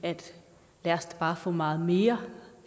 at lad os da bare få meget mere